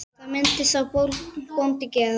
Hvað myndi sá bóndi gera?